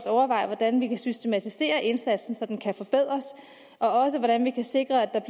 overveje hvordan vi kan systematisere indsatsen så den kan forbedres og også hvordan vi kan sikre at